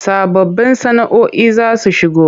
Sababbun sana”oi za su shigo.